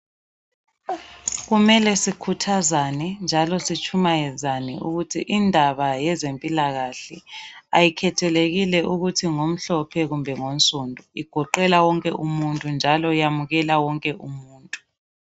Kumele sikhuthazane njalo sitshumayezane ukuthi indaba yezempilakahle ayikhethekile okuthi ngomhlophe kumbe ngonsundu igoqela wonke umuntu njalo iyamukela wonke umuntu.